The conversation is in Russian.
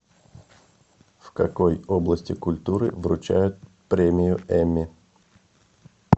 в какой области культуры вручают премию эмми